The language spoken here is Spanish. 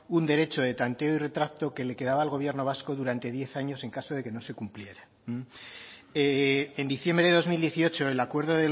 un derecho de tanteo y retracto que le quedaba al gobierno vasco durante diez años en caso de que no se cumpliera en diciembre de dos mil dieciocho el acuerdo